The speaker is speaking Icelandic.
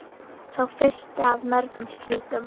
Sá fyrsti af mörgum slíkum.